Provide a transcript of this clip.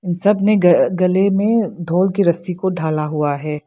सबने गले में ढोल की रस्सी ढाला हुआ है।